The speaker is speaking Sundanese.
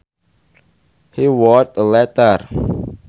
He wrote a letter